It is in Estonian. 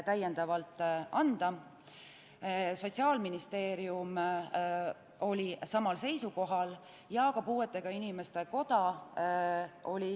Samal seisukohal olid ka Sotsiaalministeerium ja Eesti Puuetega Inimeste Koda.